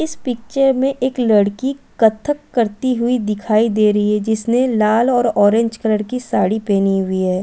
इस पिक्चर में एक लड़की कत्थक करती हुई दिखाई दे रही है जिसने लाल और ऑरेंज कलर की साड़ी पेहनी हुई हैं।